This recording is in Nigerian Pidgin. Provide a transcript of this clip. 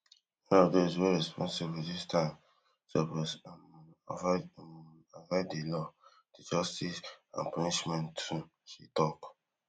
wey responsible dis time suppose um avoid um avoid di law di justice and punishment too she tok